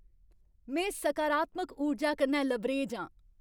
में सकारात्मक ऊर्जा कन्नै लबरेज आं।